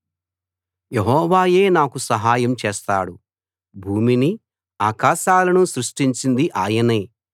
యెహోవాయే నాకు సహాయం చేస్తాడు భూమిని ఆకాశాలను సృష్టించింది ఆయనే